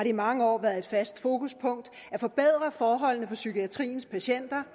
i mange år været et fast fokuspunkt at forbedre forholdene for psykiatriens patienter